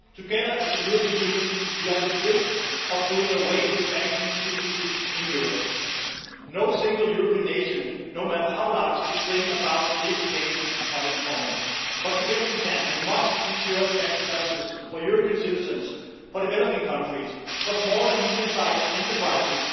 Together, as a European Union, we are on the brink of doing away with banking secrecy in Europe. No single European nation, no matter how large, could bring about this change on its own, but together we can and must ensure tax justice for European citizens, for developing countries and for small and medium sized enterprises,